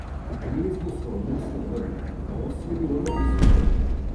Gnezdo sva odnesla ven, os je bilo na tisoče.